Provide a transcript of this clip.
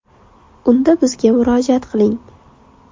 Unda bizga murojaat qiling!